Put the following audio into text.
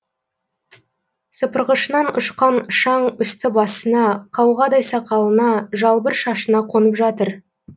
сыпырғышынан ұшқан шаң үсті басына қауғадай сақалына жалбыр шашына қонып жатыр